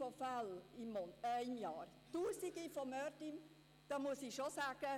Es hätte tausende Fälle im Jahr, tausende Morde – ich muss schon sagen: